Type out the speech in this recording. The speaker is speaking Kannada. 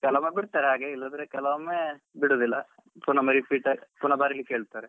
ಕೆಲವೊಮ್ಮೆ ಬಿಡ್ತಾರೆ ಹಾಗೆ ಇಲ್ಲದ್ರೆ ಕೆಲವೊಮ್ಮೆ ಬಿಡುದಿಲ್ಲ ಪುನ repeat ಪುನ ಬರಿಲಿಕ್ಕೆ ಹೇಳ್ತಾರೆ.